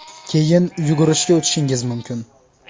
Keyin yugurishga o‘tishingiz mumkin.